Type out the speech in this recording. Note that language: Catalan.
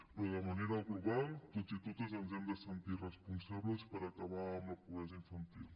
però de manera global tots i totes ens hem de sentir responsables per acabar amb la pobresa infantil